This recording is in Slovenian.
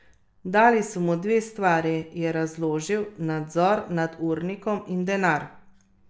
Dali so mu dve stvari, je razložil, nadzor nad urnikom in denar.